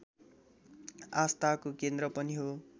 आस्थाको केन्द्र पनि हो